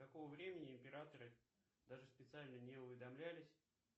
какого времени императоры даже специально не уведомлялись